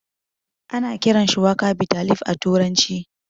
Ana kiran shuwaka bitter leaf a turanci